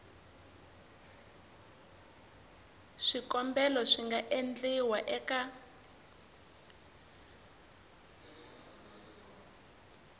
swikombelo swi nga endliwa eka